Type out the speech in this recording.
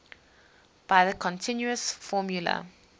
by the continuous formula